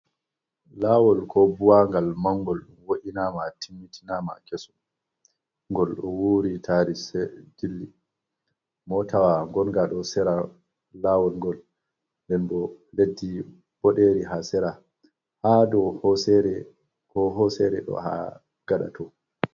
Lawol ko buwagal mangol wo’ina ma timmitinama keso, gol ɗo wuri tari jilli, motawa gonga ɗo sira lawol ngol, nden bo leddi ɓoderi ha sira hadow hosere. Ko hosere ɗo ha gaɗa to.